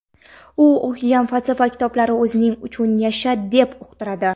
U o‘qigan falsafa kitoblari o‘zing uchun yasha deb uqtiradi.